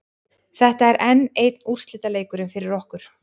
Þetta er enn einn úrslitaleikurinn fyrir okkur.